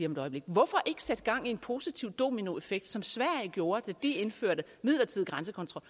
om et øjeblik hvorfor ikke sætte gang i en positiv dominoeffekt som sverige gjorde da de indførte midlertidig grænsekontrol